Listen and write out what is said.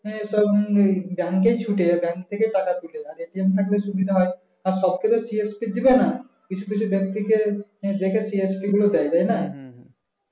এই সব নিয়ে bank এই ছুটে bank থেকে তুলে আর সুবিধা হয় আর সব ক্ষেত্রে দিবে না কিছু কিছু বেক্তিকে দেখে PhD গুলো দেয় তাইনা